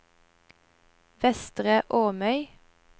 Vestre Åmøy